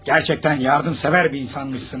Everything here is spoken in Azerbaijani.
Gerçəkdən yardımsevər bir insanmışsınız.